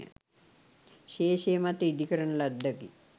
ශේෂය මත ඉදිකරන ලද්දකි.